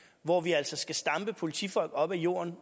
hvor vi altså skal stampe politifolk op af jorden